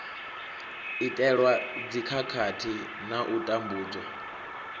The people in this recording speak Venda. itelwa dzikhakhathi na u tambudzwa